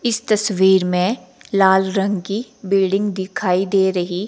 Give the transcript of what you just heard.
इस तस्वीर में लाल रंग की बिल्डिंग दिखाई दे रही--